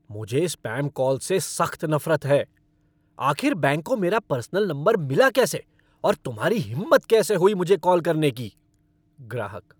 मुझे spam call से सख्त नफरत है। आखिर बैंक को मेरा पर्सनल नंबर मिला कैसे और तुम्हारी हिम्मत कैसे हुई मुझे कॉल करने की? ग्राहक